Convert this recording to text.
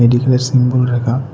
এখানে সিম্বল রাখা।